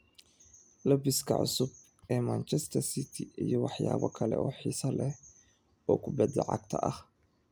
Labiska cusub ee Manchester City iyo waxyaabo kale oo xiiso leh oo kubada cagta ah